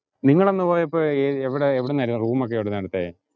നിങ്ങളന്ന് പോയപ്പോ എവിടുന്നാരുന്നു room ഒക്കെ എവിടുന്നാ എടുത്തേ?